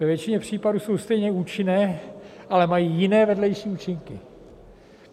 Ve většině případů jsou stejně účinné, ale mají jiné vedlejší účinky.